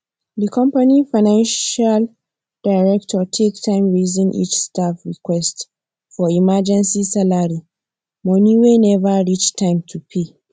the company financial director take time reason each staff request for emergency salary money wey never reach time to pay